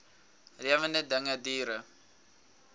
lewende dinge diere